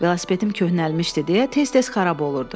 Velosipedim köhnəlmişdi deyə tez-tez xarab olurdu.